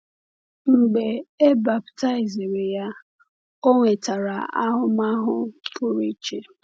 Mgbe e baptiziri ya, o nwetara ahụmahụ pụrụ iche.